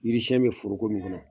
Yiri siɲɛn bɛ foroko min kɔnɔ